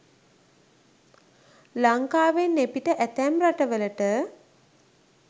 ලංකාවෙන් එපිට ඇතැම් රටවලට